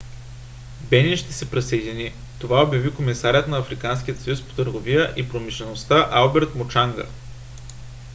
бенин ще се присъедини. това обяви комисарят на африканския съюз по търговията и промишлеността алберт мучанга